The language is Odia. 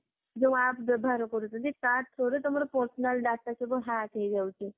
ଯୋଊ app ବ୍ୟବହାର କରୁଛନ୍ତି ତା through ରେ ତମର personal data ସବୁ hack ହେଇଯାଉଛି